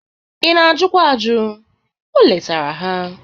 Ị na-ajụkwa ajụ, o letara ha.